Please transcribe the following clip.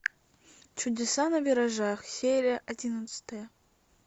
чудеса на виражах серия одиннадцатая